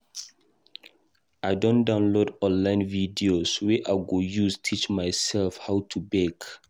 I don download online videos wey I go use teach mysef how to bake.